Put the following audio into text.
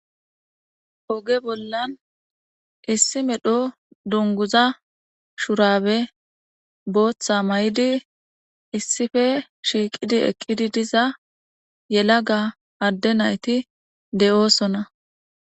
Oge bollan issi medho dunguza shurabe booththa mayidi issippe shiiqidi eqqidi diza yelaga adde nayti de'oosona.